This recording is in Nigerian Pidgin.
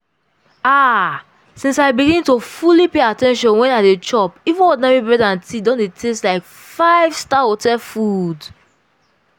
ah! since i begin dey fully pay at ten tion when i dey chop even ordinary bread and tea don dey taste like 5-star hotel food.